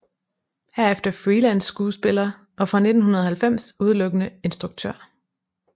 Herefter freelance skuespiller og fra 1990 udelukkende instruktør